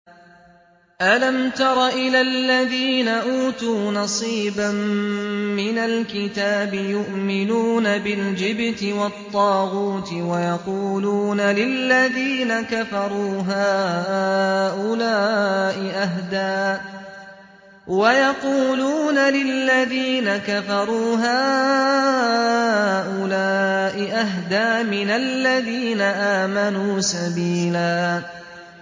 أَلَمْ تَرَ إِلَى الَّذِينَ أُوتُوا نَصِيبًا مِّنَ الْكِتَابِ يُؤْمِنُونَ بِالْجِبْتِ وَالطَّاغُوتِ وَيَقُولُونَ لِلَّذِينَ كَفَرُوا هَٰؤُلَاءِ أَهْدَىٰ مِنَ الَّذِينَ آمَنُوا سَبِيلًا